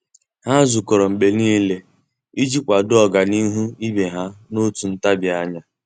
Há zùkọ́rọ́ mgbe nìile iji kwàdòọ́ ọ́gànihu ibe ha n’òtù ntabi anya.